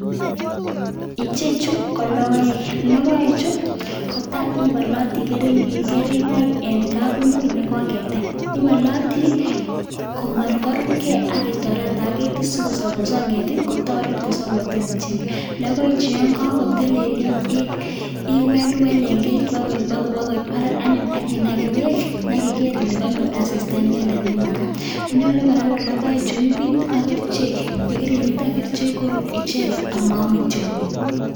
Ichechu ko logoek, logoechu kotam iboolotii kering'oonik en kabungui nekoketem. Ibolootii komatkorubgei ak itoretii ak ketiit sikongeet kotoret kotii icheget. Logoechu yon kakotelelyoo iwelwel en keetit, bakoit barak anyun ak inagee beek. Ak igeer ile konyoor inendet asistaa nemakaat, logoechu kora konyolu keebit ak kerichek, ak yekeibit ak kerichek koruut icheget ak moome tiong'iik.